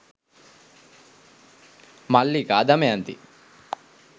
mallika damayanthi